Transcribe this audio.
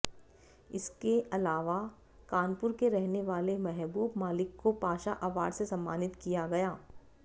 इसके अलावा कानपुर के रहने वाले महबूब मालिक को पाशा अवार्ड से सम्मानित किया गया